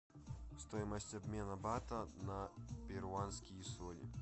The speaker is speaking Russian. стоимость обмена бата на перуанские соли